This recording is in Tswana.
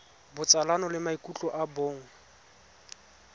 botsalano le maikutlo a bong